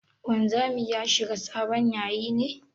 Wanzami ya shiga sabon yayi ne?